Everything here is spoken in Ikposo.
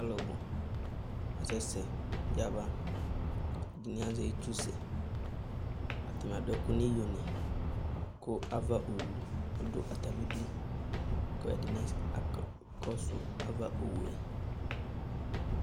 Alʋbʋ asɛ sɛ yaba: atanɩ azɛ itsusɛ, atanɩ adʋ ɛkʋ n'iyonɩ, kʋ ava owu dʋ atamidu ; k'ɛdɩnɩ aka kɔsʋ ava owue